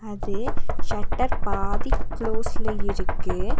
இது ஷட்டர் பாதி க்ளோஸ்ல இருக்கு.